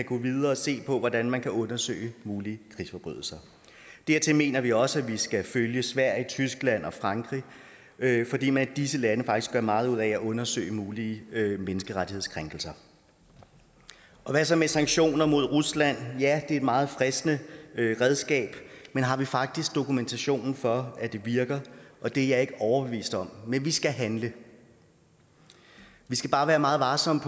gå videre og se på hvordan man kan undersøge mulige krigsforbrydelser dertil mener vi også at vi skal følge sverige tyskland og frankrig fordi man i disse lande faktisk gør meget ud af at undersøge mulige menneskerettighedskrænkelser hvad så med sanktioner mod rusland ja det er et meget fristende redskab men har vi faktisk dokumentation for at det virker det er jeg ikke overbevist om men vi skal handle vi skal bare være meget varsomme